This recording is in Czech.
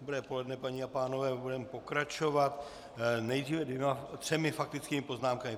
Dobré poledne, paní a pánové, budeme pokračovat nejdříve třemi faktickými poznámkami.